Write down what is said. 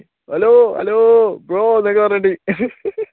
hello, hello, bro എന്നൊക്കെ പറഞ്ഞിട്ട്